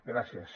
gràcies